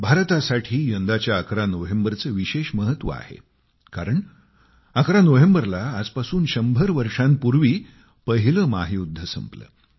भारतासाठी यंदाच्या 11 नोव्हेम्बरचे विशेष महत्व आहे कारण 11 नोव्हेंबरला आजपासून 100 वर्षांपूर्वी पहिले महायुद्ध संपले